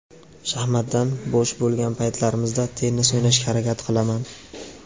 Shaxmatdan bo‘sh bo‘lgan paytlarimda tennis o‘ynashga harakat qilaman.